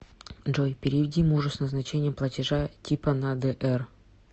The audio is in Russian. джой переведи мужу с назначением платежа типа на др